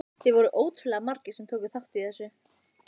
Það voru ótrúlega margir sem tóku þátt í þessu.